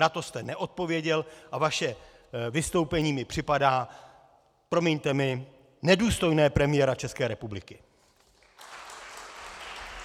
Na to jste neodpověděl a vaše vystoupení mi připadá, promiňte mi, nedůstojné premiéra České republiky.